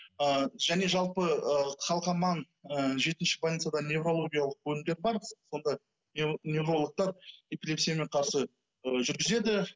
ыыы және жалпы ы қалқаман ы жетінші больницада неврологиялық бөлімдер бар сонда неврологтар эпилепсиямен қарсы ы жүргізеді